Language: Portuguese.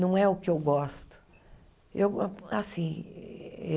Não é o que eu gosto. Eu go assim